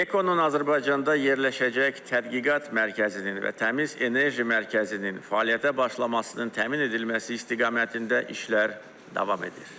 Ekonun Azərbaycanda yerləşəcək tədqiqat mərkəzinin və təmiz enerji mərkəzinin fəaliyyətə başlamasının təmin edilməsi istiqamətində işlər davam edir.